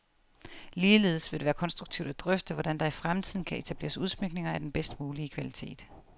Ligeledes vil det være konstruktivt at drøfte, hvordan der i fremtiden kan etableres udsmykninger af den bedst mulige kvalitet.